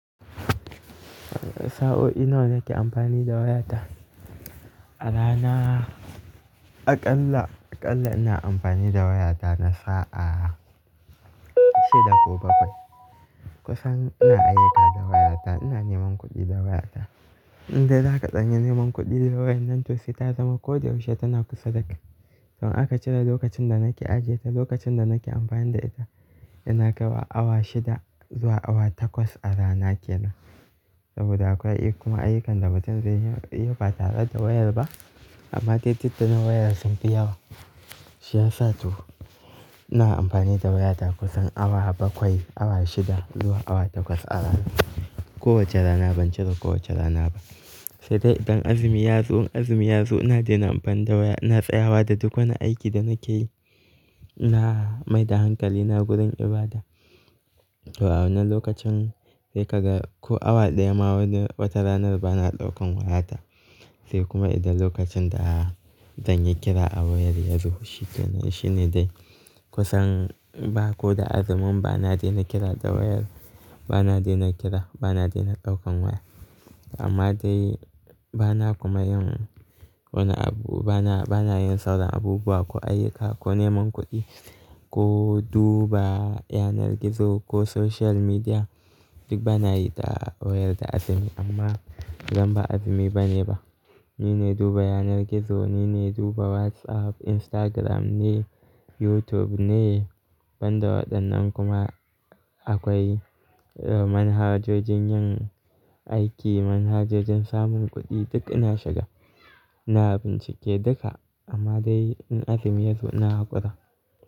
Sa'o'i nawa nake amfani da wayata? A rana, aƙalla, aƙalla ina amfani da wayata na sa'a shida ko bakwai. Kusan ina ayyuka da wayata, ina neman kuɗi da wayata. Inda za ka tsani neman kuɗi da wayar nan to sai ta zama ko da yaushe tana kusa da kai. Saboda aka cire lokacin da nake ajiye ta, lokacin da nake amfani da ita, ina kaiwa awa shida zuwa awa takwas a rana ke nan. Saboda akwai kuma ayyukan da mutum zai iya yi ba tare da wayar ba. Amma titittun wayar sun fi yawa. Shi ya sa to ina amfani da wayata kusan awa bakwai, awa shida zuwa awa takwas a rana. Kowace rana, ban cire kowace rana ba. Sai dai idan azumi ya zo, azumi ya zo ina daina amfani da waya, inna tsayawa da duk wani aiki da nake yi. Ina mai da hankali na gurin ibada. To awu na lokacin sai ka ga ko awa ɗaya ma wani wata ranar bana ɗaukan wayata. Sai kuma idan lokacin da zan yi kira a wayar ya zo shi kenan, shi ne dai. Kusan ba ko da azumin bana daina kira da wayar, bana daina kira, bana daina ɗaukan waya. Amma dai bana kuma yin wani abu, bana, bana yin sauran abubuwa ko ayyuka, ko neman kuɗi, ko duba yanar gizo, ko social media. Duk bana yi da wayar da azumi amma zan ba azumi bane ba. Ni ne duba yanar gizo, ni ne duba WhatsApp, Instagram ne, YouTube ne. Banda waɗannan kuma akwai, eh manhajojin yin aiki, manhajojin samun kuɗi duk ina shiga. Ina bincike duka amma dai in azumi yazo ina haƙura.